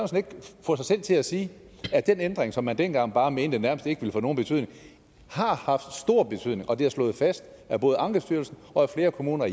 selv til at sige at den ændring som man dengang bare mente nærmest ikke ville få nogen betydning har haft stor betydning og at det er slået fast af både ankestyrelsen og af flere kommuner